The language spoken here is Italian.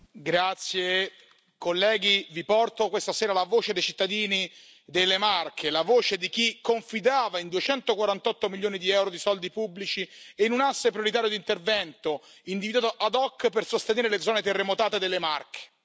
Signor Presidente, onorevoli colleghi, vi porto questa sera la voce dei cittadini delle Marche, la voce di chi confidava in 248 milioni di euro di soldi pubblici e in un asse prioritario di intervento individuato ad hoc per sostenere le zone terremotate delle Marche.